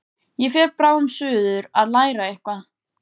Ég fer bráðum suður að læra eitthvað.